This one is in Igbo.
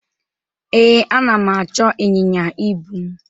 Ee, ana m achọ ịnyịnya ibu m.